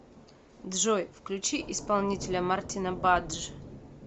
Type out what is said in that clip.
джой включи исполнителя мартина бадж